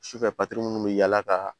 Sufɛ minnu bɛ yaala ka